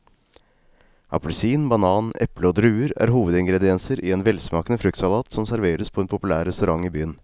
Appelsin, banan, eple og druer er hovedingredienser i en velsmakende fruktsalat som serveres på en populær restaurant i byen.